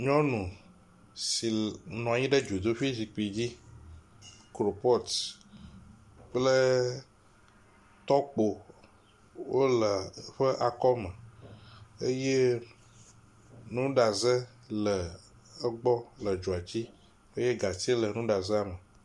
Nyɔnu si nɔ anyi ɖe dzodoƒi zikpui dzi, kropɔt kple tɔkpo wole eƒe akɔme eye nuɖaze le egbɔ le edzoa dzi eye gatsi le nuɖazea me.